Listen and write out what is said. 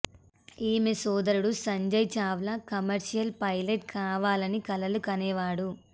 ఈమె సోదరుడు Sanjay Chawla commercial pilot కావాలని కలలు కనేవాడు